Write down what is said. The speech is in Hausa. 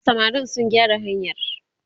samarin su gyara hanyar!